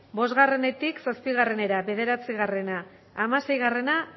bostetik zazpiera bederatzi hamaseigarrena